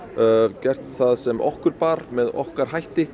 gert það sem okkur bar með okkar hætti